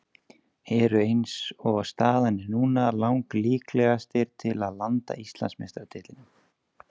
Eru eins og staðan er núna lang líklegastir til að landa Íslandsmeistaratitlinum.